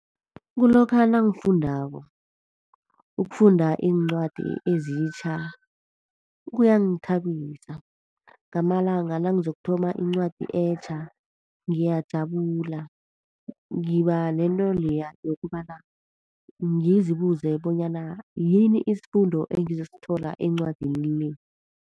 Kulokha nangifundako. Ukufunda iincwadi ezitjha kuyangithabisa. Ngamalanga nangizokuthoma iincwadi etjha ngiyajabula. Ngiba nento leya yokobana ngizibubuze bonyana yini isifundo engizosithola encwadini le?